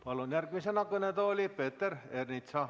Palun järgmisena kõnetooli Peeter Ernitsa.